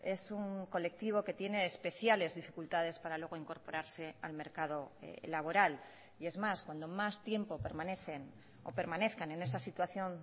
es un colectivo que tiene especiales dificultades para luego incorporarse al mercado laboral y es más cuando más tiempo permanecen o permanezcan en esa situación